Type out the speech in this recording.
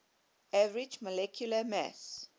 average molecular mass